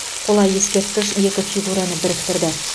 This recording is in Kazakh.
қола ескерткіш екі фигураны біріктірді